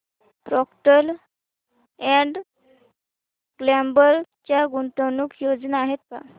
Procter and Gamble च्या गुंतवणूक योजना आहेत का